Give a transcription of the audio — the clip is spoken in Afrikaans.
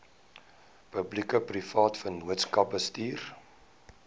publiekeprivate vennootskappe bestuur